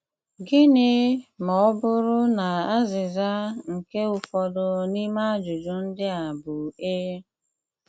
Gịnị ma ọ bụrụ na azịza nke ụfọdụ n'ime ajụjụ ndị a bụ ee?